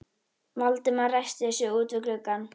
Valdimar ræskti sig úti við gluggann.